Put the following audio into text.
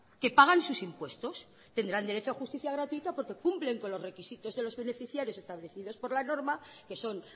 que pagan sus impuestos tendrán derecho a justicia gratuita porque cumplen con los requisitos de los beneficiarios establecidos por la norma que son